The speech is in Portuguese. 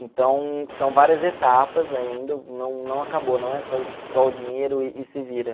Então, são várias etapas ainda, não não acabou, não é só isso, tipo, toma o dinheiro e se vira.